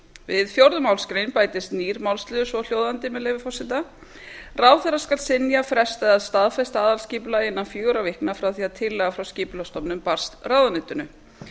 við fjórðu málsgrein bætist nýr málsliður svohljóðandi með leyfi forseta við fjórðu málsgrein bætist nýr málsliður svohljóðandi ráðherra skal synja fresta eða staðfesta aðalskipulag innan fjögurra vikna frá því að tillaga frá skipulagsstofnun barst ráðuneytinu